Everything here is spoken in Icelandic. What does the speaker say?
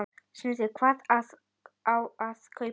Sindri: Hvað á að kaupa?